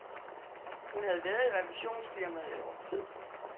Hun havde være i revisionsfirmaet et års tid.